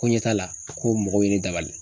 Ko ɲɛ t'a la ko mɔgɔw ye ne dabali.